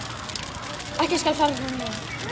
Ekkert skal fara fram hjá mér.